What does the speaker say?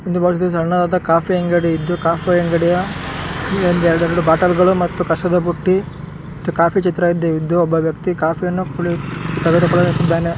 ಈ ಒಂದು ಸಣ್ಣದಾದ ಕಾಫಿ ಅಂಗಡಿಯಿದ್ದು ಕಾಫಿ ಅಂಗಡಿಯ ಒಂದ್ ಎರಡೆರಡು ಬಾಟಲಗಳು ಮತ್ತು ಕಸದ ಬುಟ್ಟಿ ಕಾಫಿ ಚಿತ್ರವಾದ್ದು ಒಬ್ಬ ವ್ಯಕ್ತಿ ಕಾಫಿಯನ್ನು ಕುಡಿ ತೆಗೆದುಕೊಳ್ಳುತ್ತಿದ್ದಾನೆ.